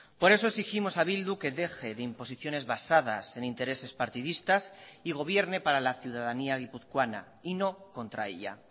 por eso exigimos a bildu que deje de imposiciones basadas en intereses partidistas y gobierne para la ciudadanía guipuzcoana y no contra ella